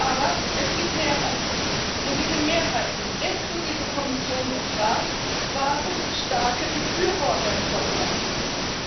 Aber es gibt Mehrheiten, und diese Mehrheiten inklusive Kommission und Rat waren starke Befürworter dieser Obergrenzen.